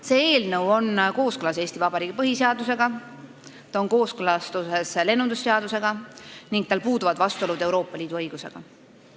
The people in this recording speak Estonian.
See eelnõu on kooskõlas Eesti Vabariigi põhiseadusega ja lennundusseadusega ning vastuolud Euroopa Liidu õigusega puuduvad.